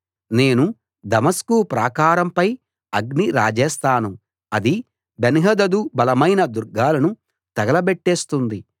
నేను దమస్కు ప్రాకారం పై అగ్ని రాజేస్తాను అది బెన్హదదు బలమైన దుర్గాలను తగలబెట్టేస్తుంది